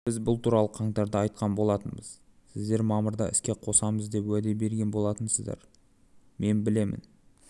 біз бұл туралы қаңтарда айтқан болатынбыз сіздер мамырда іске қосамыз деп уәде берген болатынсыздар мен білемін